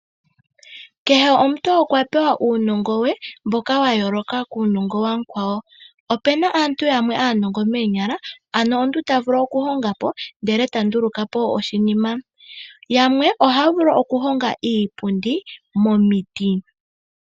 Kehe omuntu okwa pewa uunongo we mboka wayooloka kuunongo wamukwawo. Opena aantu yamwe aanongo moonyala ano omuntu tavulu okuhongapo ndele tandulukapo oshinima yamwe ohaya vulu okuhonga iipundi momiti.